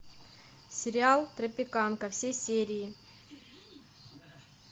сериал тропиканка все серии